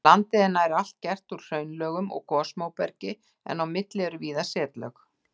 Landið er nær allt gert úr hraunlögum og gosmóbergi en á milli eru víða setlög.